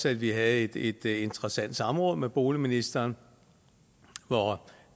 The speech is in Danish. at vi havde et et interessant samråd med boligministeren hvor